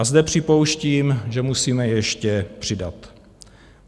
A zde připouštím, že musíme ještě přidat.